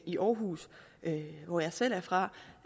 i aarhus hvor jeg selv er fra